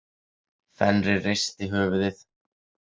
Fenrir reisti höfuðið.